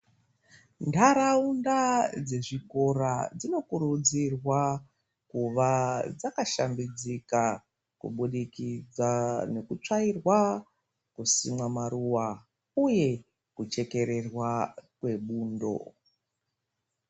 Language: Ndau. Ntaraunda dzezvikora dzinokurudzirwa kuva dzakashambidzika, kubudikidza nekutsvairwa, kusimwa maruwa uye kuchekererwa kwebundo.